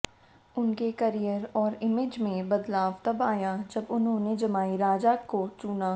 उनके करियर और इमेज में बदलाव तब आया जब उन्होंने जमाई राजा को चुना